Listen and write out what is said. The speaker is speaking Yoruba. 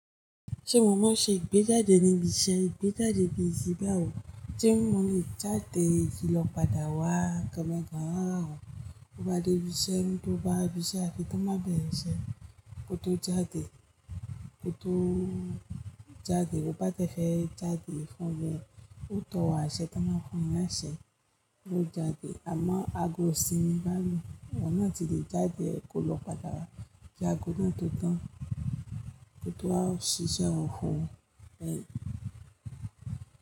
Ṣé mo mán ṣe ìgbéjáde níbi iṣẹ́? Ìgbéjáde bi ti bá ò, tí mo lè jáde fií lọ padà wá kàn mẹ́kàn háà rà o. Ó bá dé ibi iṣẹ́, ẹni tó bá bí iṣẹ́ fi kàn bá bẹ̀rẹ̀ iṣẹ́ kó tó jáde, kó tó jáde. Ó bá dẹ fẹ́ jáde fún oún, ó tọ̀ wá iṣẹ́, kàná fún ẹ̀ láìṣe ló jáde. Àmọ́ ago sì ni bá a lu. Oun nà tí lè jáde kó lọ padà wá kí ago náà tó tán kí ó tó wa ṣiṣẹ́ òfò ẹ̀.